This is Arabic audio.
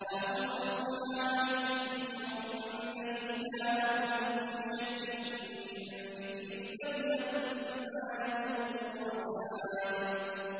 أَأُنزِلَ عَلَيْهِ الذِّكْرُ مِن بَيْنِنَا ۚ بَلْ هُمْ فِي شَكٍّ مِّن ذِكْرِي ۖ بَل لَّمَّا يَذُوقُوا عَذَابِ